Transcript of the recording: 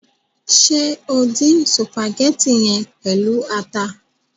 Ṣe o dín sùpàgétì yẹn pẹlu ata?